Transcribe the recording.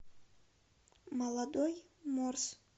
молодой морс